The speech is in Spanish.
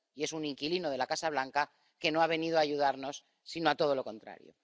Y es un inquilino de la Casa Blanca que no ha venido a ayudarnos, sino a todo lo contrario.